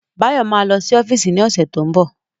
Báyọ̀ ma lọ sí ọ́fíìsì ní ọ̀sẹ̀ tó ń bọ̀